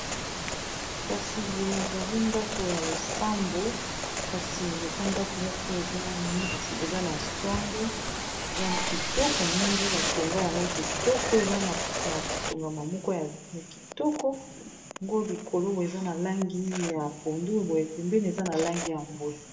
kasi boyo ezali ndako ya losambo kasi eza ndako moko eza mneti eza na songe ezali kitoko mingi batonga yango kitoko eza na kotongama moko ya kitoko yango likolo boe eza na langi ya pondu boyepempeni eza na langi ya mboe